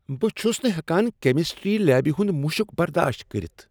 بہٕ چھس نہٕ ہیکان کیمسٹری لیبہ ہنٛد مشک برداشت کٔرتھ۔